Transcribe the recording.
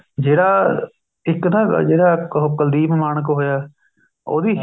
ਜਿਹੜਾ ਇੱਕ ਨਾ ਜਿਹੜਾ ਉਹ ਕੁਲਦੀਪ ਮਾਣਕ ਹੋਇਆ ਉਹਦੀ